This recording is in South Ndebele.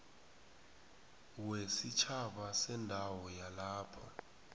wesitjhaba sendawo yalapho